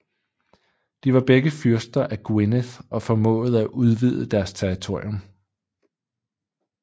De var begge fyrster af Gwynedd og formåede at udvide deres territorium